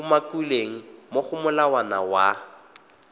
umakilweng mo go molawana wa